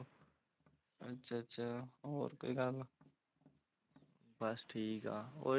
ਅੱਛਾ ਅੱਛਾ, ਹੋਰ ਕੋਈ ਗੱਲ ਬਸ ਠੀਕ ਆ,